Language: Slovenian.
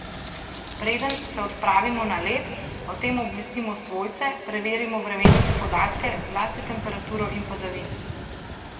Preden se odpravimo na led, o tem obvestimo svojce, preverimo vremenske podatke, zlasti temperaturo in padavine.